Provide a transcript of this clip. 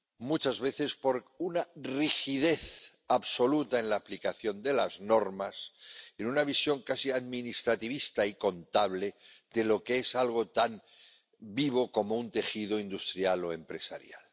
Muchas veces por una rigidez absoluta en la aplicación de las normas, en una visión casi administrativista y contable de lo que es algo tan vivo como un tejido industrial o empresarial.